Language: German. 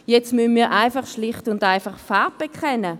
vielmehr müssen wir schlicht und einfach Farbe bekennen.